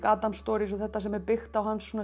Adams Stories og þetta sem er byggt á hans svona